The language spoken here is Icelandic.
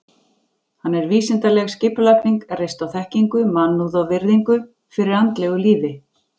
Hann er vísindaleg skipulagning, reist á þekkingu, mannúð og virðingu fyrir andlegu lífi.